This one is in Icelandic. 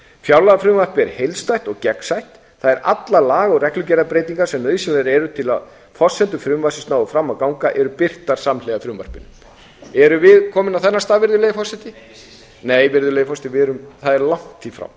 fjárlagafrumvarpið er heildstætt og gegnsætt þar eru allar laga og reglugerðarbreytingar sem nauðsynlegar eru til að forsendur frumvarpsins nái fram að ganga og eru birtar samhliða frumvarpinu erum við komin á þennan stað virðulegi forseti nei virðulegi forseti það er langt í